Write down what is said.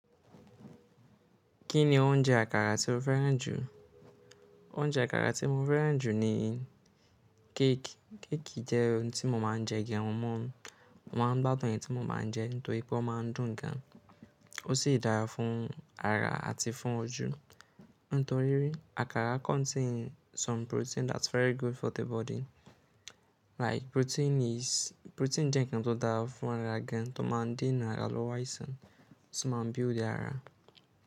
Kí ni oúnjẹ àkàrà tí o fẹ́ràn jù? Oúnjẹ àkàrà tí mo fẹ́ràn jù ni cake. Cake jẹ́ ohun tí mo máa ń jẹ gẹ́run morun. Mo máa ń gbádùn ẹ̀ tí mo báa ń jẹ nítorí pé ó máa ń dùn gan. Ó sì dára fún ara àti fún ojú. Nítorí rí, àkàrà contain some protein that's very good for the body. Like protein is-- protein jẹ́ nǹkan tó dára fún ara gan, tó máa ń dènà àlòwàìsàn, tó máa ń build the ara.